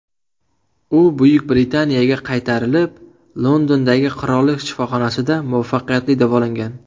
U Buyuk Britaniyaga qaytarilib, Londondagi Qirollik shifoxonasida muvaffaqiyatli davolangan.